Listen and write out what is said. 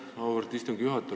Aitäh, auväärt istungi juhataja!